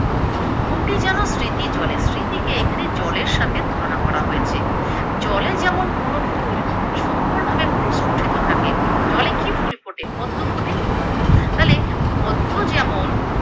ফুটি যেন স্মৃতি জলে স্মৃতিকে এখানে জলের সাথে তুলনা করা হয়েছে, জলে যেমন কোনো ফুল সুন্দর ভাবে প্রস্ফুটিত থাকে, জলে কি ফুল ফোটে? পদ্ম ফোটে তালে পদ্ম যেমন